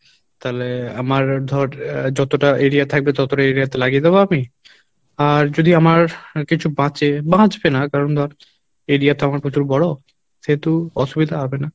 তালে আমার ধর আহ যতটা area থাকবে ততটা area তে লাগিয়ে দেবো আমি আর যদি আমার কিছু বাঁচে বাঁচবে না কারণ ধর area তো আমার প্রচুর বড়ো সেহেতু অসুবিধা হবে না